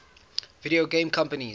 video game companies